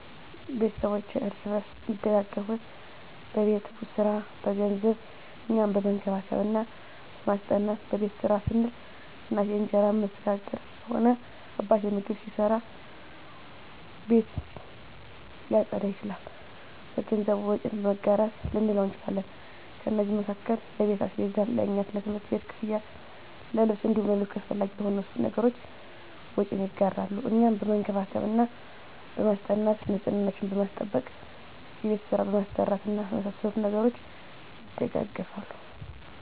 ቤተስቦቼ እርስ በርስ አሚደጋገፋት በቤት ሰራ፣ በገንዘብ፣ እኛን በመንከባከብ እና በማስጠናት። በቤት ስራ ስንል፦ እናቴ እንጀራ እምትጋግር ከሆነ አባቴ ምግብ ሊሰራ፣ ቤት ሊያፀዳ ይችላል። በገንዘብ፦ ወጪን መጋራት ልንለው እንችላለን። ከነዚህም መካከል ለቤት አስቤዛ፣ ለእኛ የትምህርት ቤት ክፍያ፣ ለልብስ እንዲሁም ለሌሎች አሰፈላጊ ለሆኑ ነገሮች ወጪን ይጋራሉ። እኛን በመንከባከብ እና በማስጠናት፦ ንፅህናችንን በማስጠበቅ፣ የቤት ስራ በማሰራት እና በመሳሰሉት ነገሮች ይደጋገፋሉ።